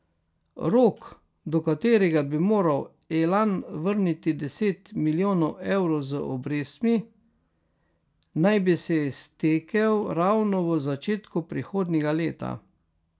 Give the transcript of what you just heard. Rok, do katerega bi moral Elan vrniti deset milijonov evrov z obrestmi, naj bi se iztekel ravno v začetku prihodnjega leta.